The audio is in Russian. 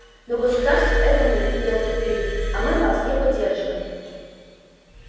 но государство это мы доктор пиренн а мы вас не поддерживаем